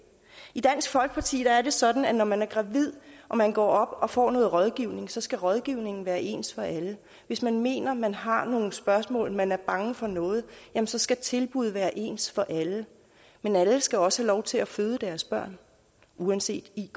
i dansk folkeparti er det sådan at når man er gravid og man går op og får noget rådgivning så skal rådgivningen være ens for alle hvis man mener at man har nogle spørgsmål at man er bange for noget så skal tilbuddet være ens for alle men alle skal også have lov til at føde deres børn uanset iq